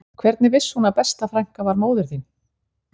Hvernig vissi hún að besta frænka var móðir þín